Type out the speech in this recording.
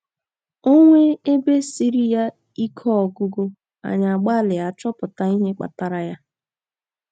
um O nwee ebe siiri ya um ike ọgụgụ, anyị agbalịa chọpụta um ihe kpatara ya.